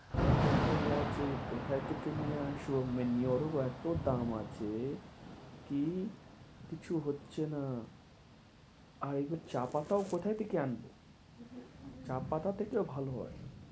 তো এটাই আছে কথা থেকে নিয়ে আসবো এতো দাম আছে কি কিছু হচ্ছে না চা পাতায় কথা থেকে আনবো চা পাতা থেকেও ভালো হয়